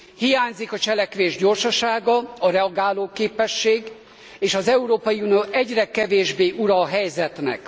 Hiányzik a cselekvés gyorsasága, a reagálóképesség, és az Európai Unió egyre kevésbé ura a helyzetnek.